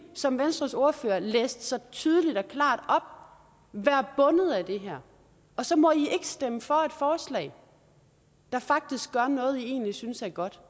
som venstres ordfører læste så tydeligt og klart op være bundet af det her og så må de ikke stemme for et forslag der faktisk gør noget de egentlig synes er godt